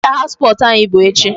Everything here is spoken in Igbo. Inter house sports anyị bụ echi.